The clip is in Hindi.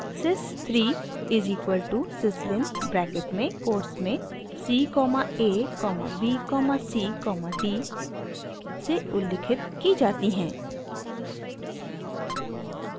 sys 3 is equal to syslin bracket में कोट्स में c comma a comma b comma c comma d से उल्लिखित की जाती है